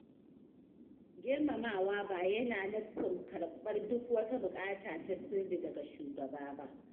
Girmamawa ba yana nufin karɓar duk wata bukata ta sirri daga shugaba ba.